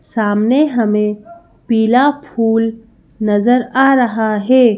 सामने हमें पीला फूल नजर आ रहा है।